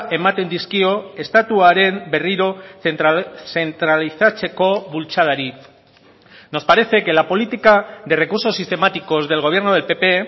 ematen dizkio estatuaren berriro zentralizatzeko bultzadari nos parece que la política de recursos sistemáticos del gobierno del pp